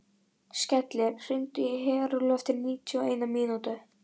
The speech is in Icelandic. Skellir, hringdu í Herúlf eftir níutíu og eina mínútur.